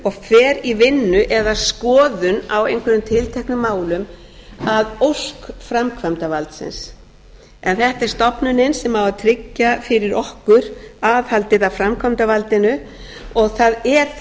aðilum og fer í vinnu eða skoðun á einhverjum tilteknum málum að ósk framkvæmdarvaldsins en þetta er stofnunin sem á að tryggja fyrir okkur aðhaldið að framkvæmdarvaldinu og það er